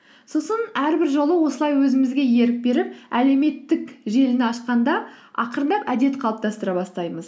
сосын әрбір жолы осылай өзімізге ерік беріп әлеуметтік желіні ашқанда ақырындап әдет қалыптастыра бастаймыз